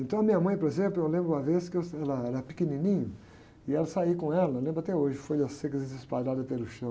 Então a minha mãe, por exemplo, eu lembro uma vez que eu, era, era pequenininho e aí eu saí com ela, eu lembro até hoje, folhas secas espalhadas pelo chão.